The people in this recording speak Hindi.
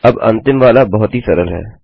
अब अंतिम वाला बहुत ही सरल है